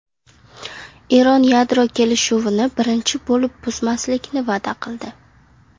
Eron yadro kelishuvini birinchi bo‘lib buzmaslikni va’da qildi.